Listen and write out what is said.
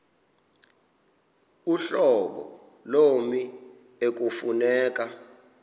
uhlobo lommi ekufuneka